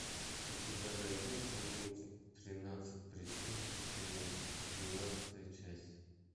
у тебя найдется мультик тринадцать причин почему двенадцатая часть